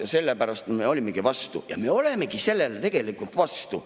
Ja sellepärast me olimegi vastu ja me olemegi sellele tegelikult vastu.